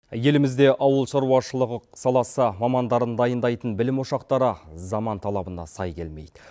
елімізде ауылшаруашылығы саласы мамандарын дайындайтын білім ощақтары заман талабына сай келмейді